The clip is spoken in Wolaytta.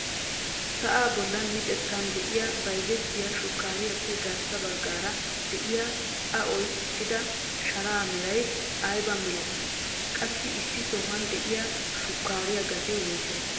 Sa'aa bolli micettan de'iyaa bayzzettiyaa shukariyaappe garssa baggaara de'iyaa a oyqqida sharaa meray aybaa milatii? qassi issi sohuwaan de'iyaa shukaariyaa gatee woysee?